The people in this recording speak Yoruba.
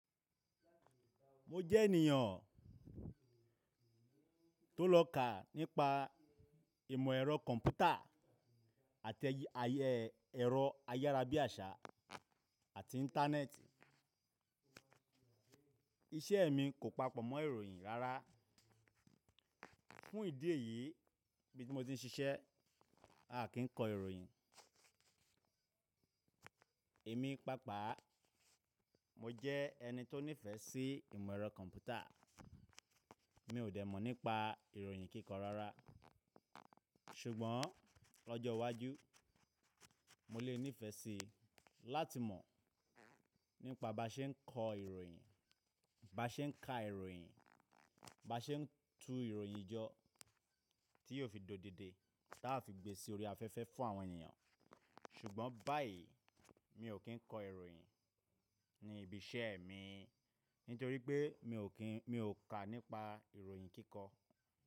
Mo jẹ́ ènìyàn tó lọ́kà nípa ìmọ̀ ẹ̀rọ kọ̀m̀pútà àti ẹ̀rọ ayárabíàṣá àti Íńtánẹ́ẹ̀tì. Iṣẹ́ mi kò papọ̀ mọ́ ìròyìn rárá. Fún ìdí èyí, ibí ti mo ti ń ṣiṣẹ́, a kì in kọ ìròyìn. Èmi pàápàá mo jẹ́ ẹni tó nífẹ̀ẹ́ sí ìmọ̀ ẹ̀rọ kọ̀m̀pútà. Mi ò dẹ̀ mọ̀ nípa ìròyìn kíkọ rárá. Ṣùgbọ́n lọ́jọ́ iwájú, mo lè nífẹ̀ẹ́ síi láti mọ̀ nípa bá ṣe ń kọ ìròyìn, bá ṣe ń ka ìròyìn, bá ṣe ń tu ìròyìn jọ tí yóò fi dòdidi taa fi gbé sí orí afẹ́fẹ́ fún àwọn ènìyàn. Ṣùgbọ́n báyìí mi ò kí ń kọ ìròyìn ní ibi iṣẹ́ mi nítorí pé mi ò ka nípa ìròyìn kíkọ.